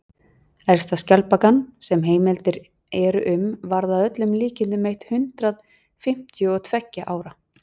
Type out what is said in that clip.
elsta skjaldbakan sem heimildir eru um varð að öllum líkindum eitt hundruð fimmtíu og tveggja ára